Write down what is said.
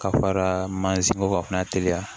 Ka fara mansin ko kan ka teliya